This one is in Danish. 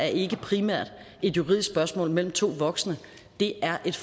ikke primært er et juridisk spørgsmål mellem to voksne det er et